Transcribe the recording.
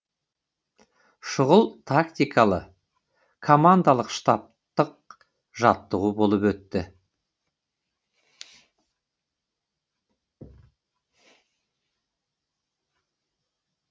шұғыл тактикалы командалық штабтық жаттығу болып өтті